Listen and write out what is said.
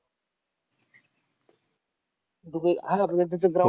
Dubai ground